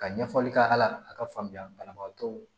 Ka ɲɛfɔli k'a la a ka faamuya banabagatɔw